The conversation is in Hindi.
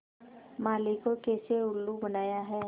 माली को कैसे उल्लू बनाया है